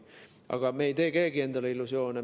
Aga me ei tee keegi endale illusioone.